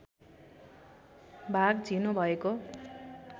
भाग झिनो भएको